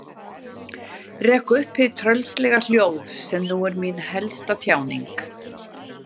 Rek upp hið tröllslega hljóð sem nú er mín helsta tjáning.